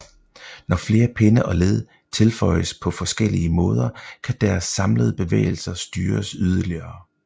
Når flere pinde og led tilføjes på forskellige måder kan deres samlede bevægelser styres yderligere